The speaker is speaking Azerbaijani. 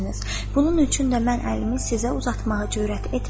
“Bunun üçün də mən əlimi sizə uzatmağa cürət etmirəm.”